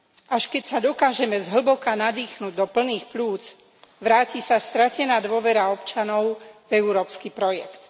Až keď sa dokážeme zhlboka nadýchnuť do plných pľúc, vráti sa stratená dôvera občanov v európsky projekt.